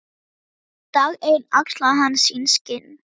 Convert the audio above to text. Dag einn axlaði hann sín skinn.